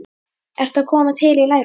ertu að koma til í lærunum?